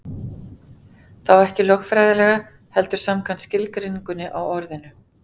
Þá ekki lögfræðilega, heldur samkvæmt skilgreiningunni á orðinu.